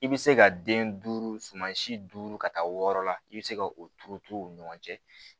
I bɛ se ka den duuru suma si duuru ka taa wɔɔrɔ la i bɛ se ka o turuturu u ni ɲɔgɔn cɛ